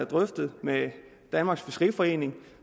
drøftet med danmarks fiskeriforening